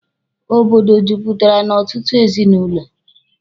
Obodo juputara n'ọtụtụ ezinụlọ.